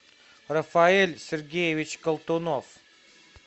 рафаэль сергеевич колтунов